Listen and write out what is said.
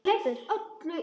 Mamma tók þessu fjarri.